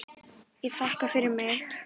Ég þakka fyrir mig.